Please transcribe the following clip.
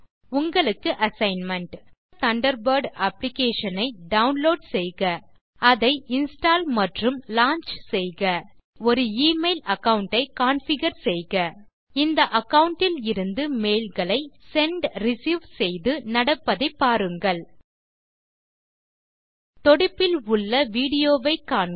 உங்களுக்கு assignment Mozilla Thunderbird application ஐ download செய்க அதை இன்ஸ்டால் மற்றும் லாஞ்ச் செய்க தண்டர்பர்ட் இல் ஒரு எமெயில் அகாவுண்ட் ஐ கான்ஃபிகர் செய்க இந்த அகாவுண்ட் இலிருந்து மெய்ல்களை செண்ட் ரிசீவ் செய்து நடப்பதை பாருங்கள் தொடுப்பில் உள்ள விடியோ வை காண்க